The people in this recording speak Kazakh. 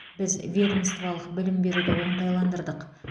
біз ведомстволық білім беруді оңтайландырдық